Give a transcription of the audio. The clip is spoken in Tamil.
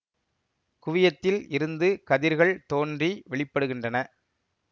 குவியத்தில் இருந்து கதிர்கள் தோன்றி வெளிப்படுகின்றன